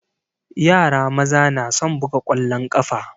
Yara maza na son buga ƙwallon ƙafa.